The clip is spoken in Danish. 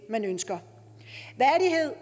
man ønsker